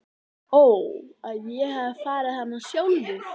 Ó að ég hefði farið hana sjálfur.